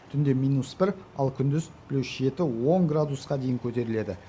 түнде минус бір ал күндіз плюс жеті он градусқа дейін көтеріледі